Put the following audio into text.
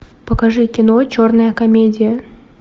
покажи кино черная комедия